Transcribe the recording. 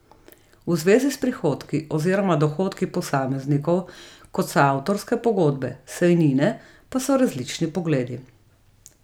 V zvezi s prihodki oziroma dohodki posameznikov, kot so avtorske pogodbe, sejnine, pa so različni pogledi.